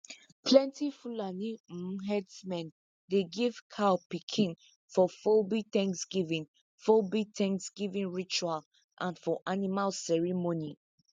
plenti fulani um herdsmen dey give cow pikin for fulbe thanksgiving fulbe thanksgiving ritual and for animal ceremony